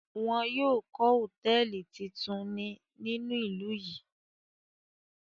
Wọn yóò ko hotẹẹli titun ni ninu ilu yi.